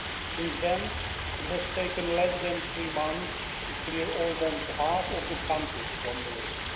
Since then, it has taken less than three months to clear almost half of the countries from the list.